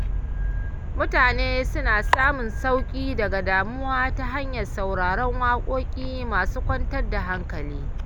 Mutane suna samun sauƙi daga damuwa ta hanyar sauraron waƙoƙi masu kwantar da hankali.